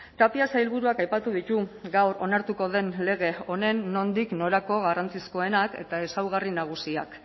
tapia sailburuak aipatu ditu gaur onartuko den lege honen nondik norako garrantzizkoenak eta ezaugarri nagusiak